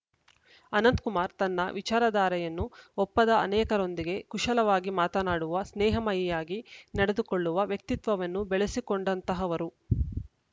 ಅನಂತಕುಮಾರ್‌ ತನ್ನ ವಿಚಾರಧಾರೆಯನ್ನು ಒಪ್ಪದ ಅನೇಕರೊಂದಿಗೆ ಕುಶಲವಾಗಿ ಮಾತನಾಡುವ ಸ್ನೇಹಮಯಿಯಾಗಿ ನಡೆದುಕೊಳ್ಳುವ ವ್ಯಕ್ತಿತ್ವವನ್ನು ಬೆಳೆಸಿಕೊಂಡಂತಹವರು